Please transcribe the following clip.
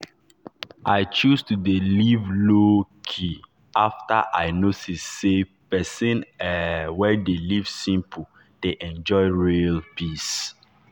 i choose to dey live low-key after i notice say person um wey dey live simple dey enjoy real peace.